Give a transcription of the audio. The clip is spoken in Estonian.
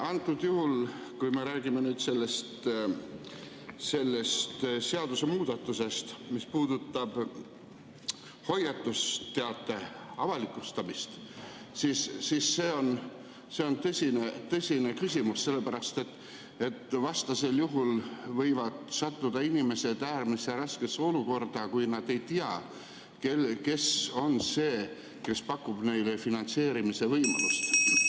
Antud juhul, kui me räägime sellest seadusemuudatusest, mis puudutab hoiatusteate avalikustamist, on see tõsine küsimus, sellepärast et vastasel juhul võivad inimesed sattuda äärmiselt raskesse olukorda, kui nad ei tea, kes on see, kes pakub neile finantseerimise võimalust.